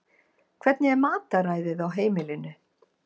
Hvernig er mataræðið á heimilinu?